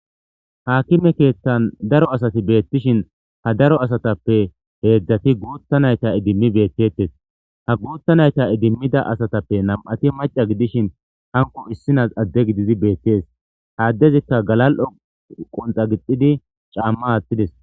Haakime keethtan daro asati beettishin ha daro asatappe heedzdzati guutta nayta idimmi bettetes ha guutta nayta idimmida asatappe nam7ati maca gidishin hanko issinas adde gididi beettees ha addezikka galal7o qonxa gixidi caamma aathtides